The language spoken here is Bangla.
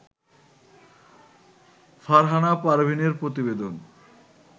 ফারহানা পারভীনের প্রতিবেদন